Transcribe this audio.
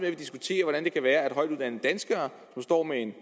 at vi diskuterer hvordan det kan være er højtuddannede danskere som står med en